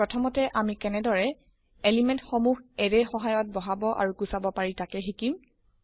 প্ৰথমতে আমি কেনেদৰে এলিমেন্ট সমুহ এৰে ৰ সহায়ত বহাব আৰু গুচাব পাৰি তকে শিকিম